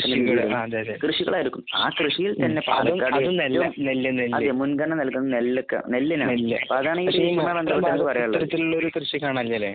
കൃഷിയിടങ്ങൾ. അതും നെല്ല്. നെല്ല്. പക്ഷെ ഈ ഇത്തരത്തിലുള്ള കൃഷി കാണാൻ ഇല്ലാലെ?